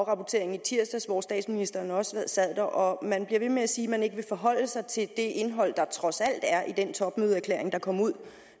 afrapportering i tirsdags hvor statsministeren også sad der og man bliver ved med at sige at man ikke vil forholde sig til det indhold der trods alt er i den topmødeerklæring der kom ud